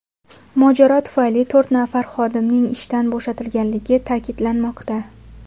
Mojaro tufayli to‘rt nafar xodimning ishdan bo‘shatilganligi ta’kidlanmoqda.